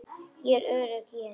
Ég er örugg í henni.